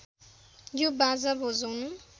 यो बाजा बजाउनु